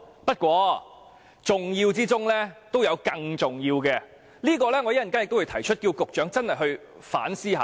不過，重要之中都有更重要的，我稍後會提出請局長反思一下。